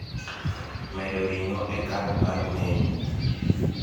medo ring'o e kad mar menu